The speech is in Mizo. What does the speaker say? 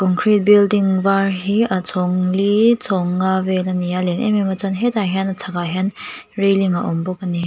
concrete building var hi a chhawng li chhawng nga a ni a a lian em em a chuan hetah hian a chhakah hian railing a awm bawk a ni.